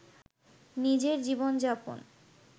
নিজের জীবন-যাপন